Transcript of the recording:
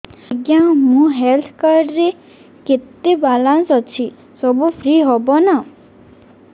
ଆଜ୍ଞା ମୋ health card ରେ କେତେ ବାଲାନ୍ସ ଅଛି ସବୁ ଫ୍ରି ହବ ନାଁ